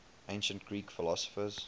ancient greek philosophers